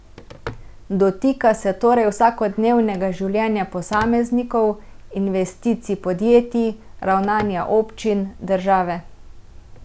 Dotika se torej vsakodnevnega življenja posameznikov, investicij podjetij, ravnanja občin, države.